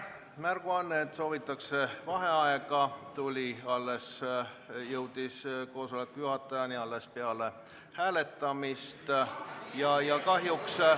Märguanne, et soovitakse vaheaega, jõudis istungi juhatajani alles peale hääletamist.